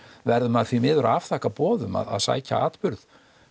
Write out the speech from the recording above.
verður maður því miður að afþakka boð um að sækja atburð